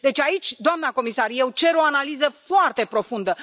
Deci aici, doamnă comisar, eu cer o analiză foarte profundă.